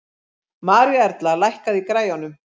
Maríuerla, lækkaðu í græjunum.